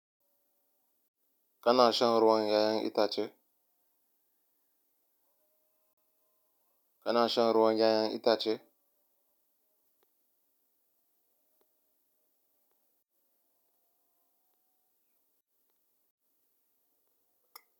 Kana shan ruwan 'ya'yan ita ce? Kana shan ruwan yayen ita ce?